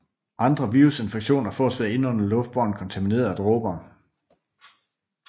Andre virusinfektioner fås ved at indånde luftbårne kontaminerede dråber